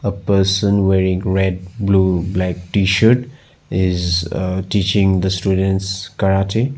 A person wearing red blue black T shirt is a teaching the students karate.